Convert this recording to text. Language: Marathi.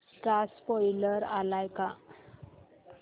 चा स्पोईलर आलाय का